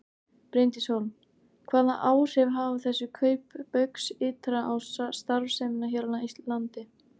Bryndís Hólm: Hvaða áhrif hafa þessi kaup Baugs ytra á starfsemina hér á landi?